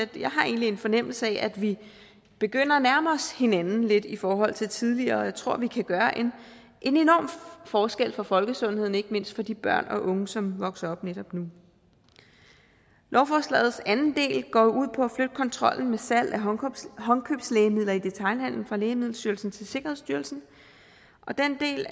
jeg har egentlig en fornemmelse af at vi begynder at nærme os hinanden lidt i forhold til tidligere og jeg tror vi kan gøre en enorm forskel for folkesundheden ikke mindst for de børn og unge som vokser op netop nu lovforslagets anden del går jo ud på at flytte kontrollen med salg af håndkøbslægemidler i detailhandelen fra lægemiddelstyrelsen til sikkerhedsstyrelsen og den del